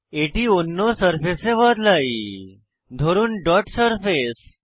এটি অন্য সারফেসে বদলাই ধরুন ডট সারফেস